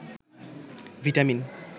vitamin